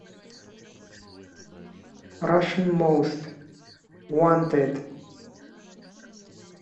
рашан моуст уонтэд